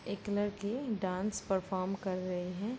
एक लड़की dance perform कर रही है।